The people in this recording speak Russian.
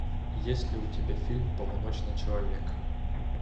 есть ли у тебя фильм полуночный человек